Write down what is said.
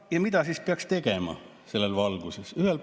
Ja mida siis peaks tegema selles valguses?